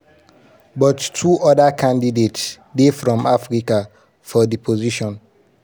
she also claim say she collabo wit oda ministers for ghana to run 'year um of return' um and 'beyond di return' policies.